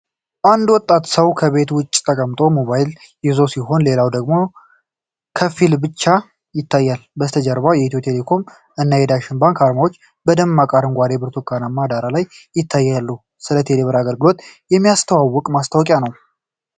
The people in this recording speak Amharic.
አንድ ወጣት ሰው ከቤት ውጭ ተቀምጦ ሞባይሉን ይዞ ሲሆን፣ ሌላ ሰው ደግሞ ከፊሉ ብቻ ይታያል። ከበስተጀርባ የኢትዮ ቴሌኮም እና ዳሽን ባንክ አርማዎች በደማቅ አረንጓዴና ብርቱካንማ ዳራ ላይ ይታያሉ። ስለ "ቴሌብር" አገልግሎት የሚያስተዋውቅ ማስታወቂያ ነው።